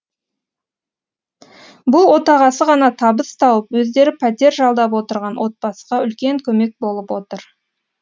бұл отағасы ғана табыс тауып өздері пәтер жалдап отырған отбасыға үлкен көмек болып отыр